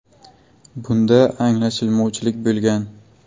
Bunda anglashilmovchilik bo‘lgan.